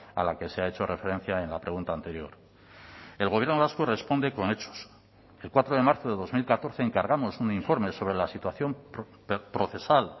a la que se ha hecho referencia en la pregunta anterior el gobierno vasco responde con hechos el cuatro de marzo de dos mil catorce encargamos un informe sobre la situación procesal